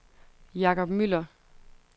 Jacob Müller